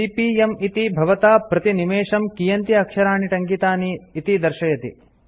CPM - इति भवता प्रतिनिमेषं कियन्ति अक्षराणि टङ्कितानि इति दर्शयति